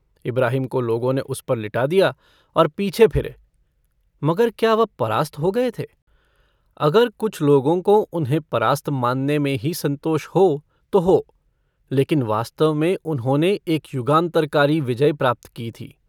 इब्राहिम को लोगों ने उस पर लिटा दिया और पीछे फिरे मगर क्या वह परास्त हो गये थे अगर कुछ लोगों को उन्हें परास्त मानने में ही सन्तोष हो तो हो लेकिन वास्तव में उन्होंने एक युगान्तरकारी विजय प्राप्त की थी।